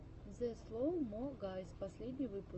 зе слоу мо гайз последний выпуск